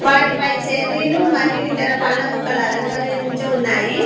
వాటిపై చెర్రీలు మరియు ఇతర పండ్ల ముక్కలు అలంకరించి ఉన్నాయి.